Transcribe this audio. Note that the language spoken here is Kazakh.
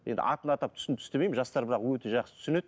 енді атын атап түсін түстемеймін жастар бірақ өте жақсы түсінеді